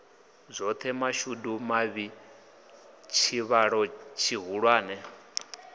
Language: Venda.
zwoṱhe mashudu mavhi tshivhalo tshihulwane